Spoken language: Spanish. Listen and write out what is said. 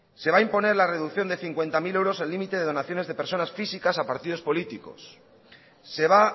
se va a imponer la reducción de cincuenta mil euros el límite de donaciones de personas físicas a partidos políticos se va